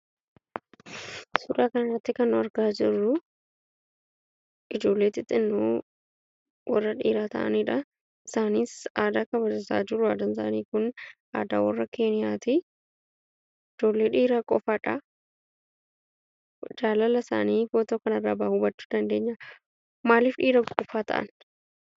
Suuraa kana irratti kan argaa jirruu, ijoollee xixinnoo warra dhiiraa ta'aniidhaa. Isaanis aadaa kabajataa jiru. Aadaan isaanii Kun aadaa warra keeniyaatii. Ijoollee dhiiraa qofaadha. Jaalala isaanii footoo kana irraa kana irraa hubachuu dandeenya. Maaliif dhiirota qofaa ta'an?